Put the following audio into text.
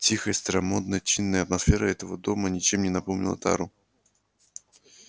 тихая старомодно-чинная атмосфера этого дома ничем не напомнила тару